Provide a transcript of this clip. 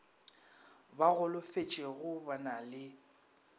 ba golofetšego ba na le